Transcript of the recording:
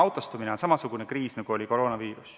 Autostumine on samasugune kriis, nagu oli koroonaviirus.